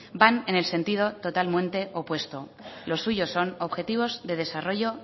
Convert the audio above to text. van en el sentido totalmente opuesto lo suyo son objetivos de desarrollo